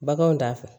Baganw t'a fɔ